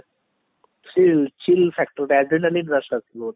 ସେଇ chill factor ଟା ଏତେ ଦିନ ହେଲାଣି loss କରିଦେଲି ଗୋଟେ